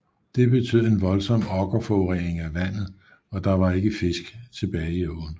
Det betød en voldsom okkerforurening af vandet og der var ikke fisk tilbage i åen